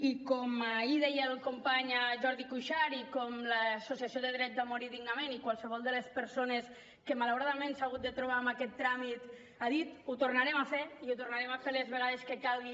i com ahir deia el company jordi cuixart i com l’associació dret a morir dignament i qualsevol de les persones que malauradament s’ha hagut de trobar amb aquest tràmit han dit ho tornarem a fer i ho tornarem a fer les vegades que calgui